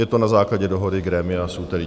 Je to na základě dohody grémia z úterý.